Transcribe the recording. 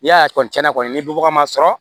N'i y'a kɔni cɛn na kɔni ni bagan ma sɔrɔ